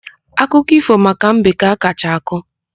Akụkọ ífò maka mbe ka a kacha akọ.